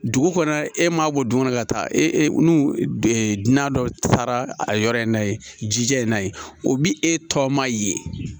Dugu kɔnɔ e ma bɔ du kɔnɔ ka taa e n'u dunan dɔ taara a yɔrɔ in na ye jija in n'a ye o bi e tɔ ma ye